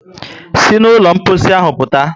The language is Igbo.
Sí na ụlọ mposi ahụ pụta!